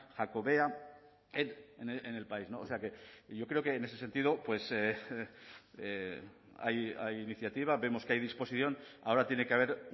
jacobea en el país o sea que yo creo que en ese sentido pues hay iniciativa vemos que hay disposición ahora tiene que haber